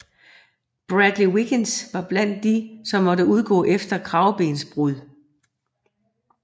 Bradley Wiggins var blandt de som måtte udgå efter kravebensbrud